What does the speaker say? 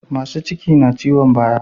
Masu ciki na ciyon baya